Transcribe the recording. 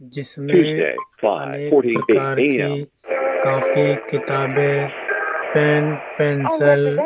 जिसमे अनेक प्रकार की कॉपी किताबे पेन पेंसल --